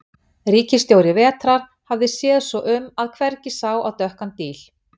Ríkisstjóri vetrar hafði séð svo um að hvergi sá á dökkan díl.